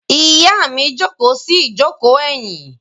Ìyá mi jókòó sí ìjókòó ẹ̀yìn.